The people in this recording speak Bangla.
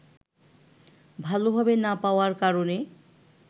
ভালভাবে না পাওয়ার কারণে